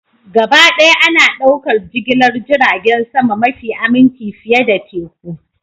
Gabaɗaya ana ɗaukar jigilar jiragen sama mafi aminci fiye da teku